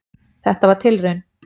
Þetta var tilraun.